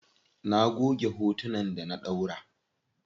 Na goge hotunan da na ɗaura.